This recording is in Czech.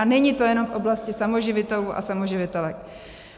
A není to jenom v oblasti samoživitelů a samoživitelek.